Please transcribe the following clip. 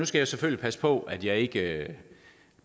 skal jeg selvfølgelig passe på at jeg ikke